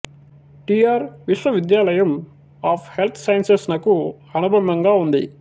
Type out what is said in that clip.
T R విశ్వవిద్యాలయం of health sciences నకు అనుబంధంగా ఉంది